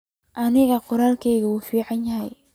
Aniga qoralkeyki uu ficanyhy.